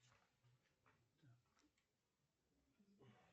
сбер почему япония не участвует в космической программе